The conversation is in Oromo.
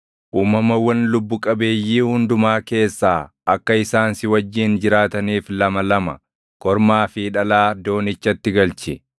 Uumamawwan lubbu qabeeyyii hundumaa keessaa akka isaan si wajjin jiraataniif lama lama, kormaa fi dhalaa doonichatti galchi.